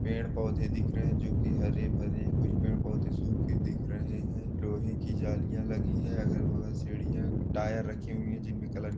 पेड़ पौधे दिख रहे है जो की हरे भरे कुछ पेड़ पौधे सुखे दिख रहे है लोहे की जालियां लगी है अगल बगल सीढ़िया टायर रखी हुई है जिनमे टायर --